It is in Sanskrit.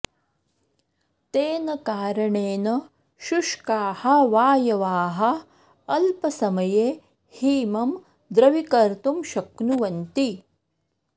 तेन कारणेन शुष्काः वायवः अल्पसमये हिमं द्रवीकर्तुं शक्नुवन्ति